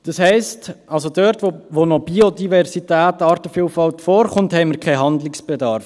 Das heisst: Dort, wo noch Biodiversität und Artenvielfalt vorkommt, haben wir keinen Handlungsbedarf.